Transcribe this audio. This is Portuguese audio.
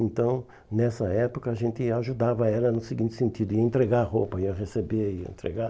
Então, nessa época, a gente ajudava ela no seguinte sentido, ia entregar a roupa, ia receber e ia entregar.